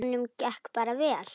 Og honum gekk bara vel.